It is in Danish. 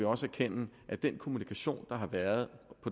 også erkende at den kommunikation der har været